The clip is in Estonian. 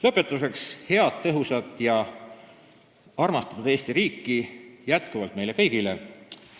Lõpetuseks: head, tõhusat ja armastatud Eesti riiki jätkuvalt meile kõigile!